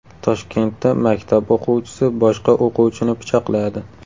Toshkentda maktab o‘quvchisi boshqa o‘quvchini pichoqladi.